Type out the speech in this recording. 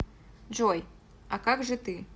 джой а как же ты